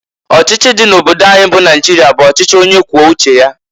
Ochichi di n' obodo anyị bụ Naịjịrịa bụ ọchịchị onye kwuo uche ya.